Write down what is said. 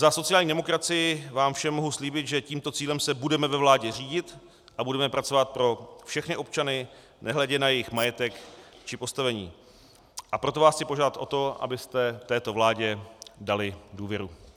Za sociální demokracii vám všem mohu slíbit, že tímto cílem se budeme ve vládě řídit a budeme pracovat pro všechny občany nehledě na jejich majetek či postavení, a proto vás chci požádat o to, abyste této vládě dali důvěru.